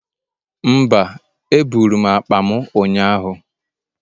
Mba, eburu m akpa m ụnyaahụ